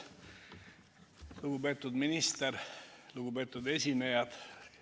Lugupeetud minister ja kõik teised esinejad!